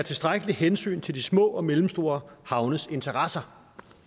tilstrækkeligt hensyn til de små og mellemstore havnes interesser